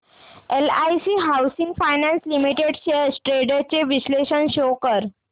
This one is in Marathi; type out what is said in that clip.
LIC housing finance limited shares trends चे विश्लेषण शो कर